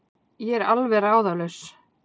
Ég er alveg ráðalaus.